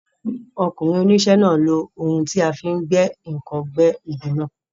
Ọkùnrin oníṣẹ́ náà lo ohun tí a fi ń gbẹ́ ǹkan gbẹ́ igi náà.